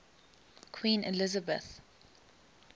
queen elizabeth